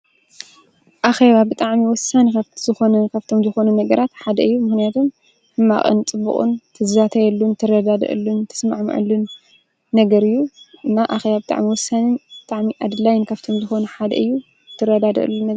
ኣኸባ ብጥዕሚ ወሳን ካብ ዝኾነን ካብቶም ዝኾኑ ነግራት ሓደ እዩ ምህነቶም ሕማቕንጽቡቕን ትዛተየሉን ትረዳደአሉን ተስማዕ ምዕሉን ነገር እዩ እና ኣኸያ ኣብ ጥዕሚ ወሰንን ብጥዕሚ ኣድላይን ካፍቶም ዝኾኑ ሓደ እዩ ትረዳደአሉ ነ።